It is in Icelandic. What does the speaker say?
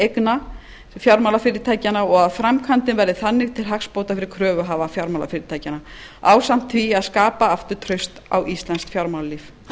eigna fjármálafyrirtækjanna og að framkvæmdin verði þannig til hagsbóta fyrir kröfuhafa fjármálafyrirtækjanna ásamt því að skapa aftur traust á íslenskt fjármálalíf